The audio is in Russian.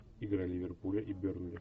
игра ливерпуля и бернли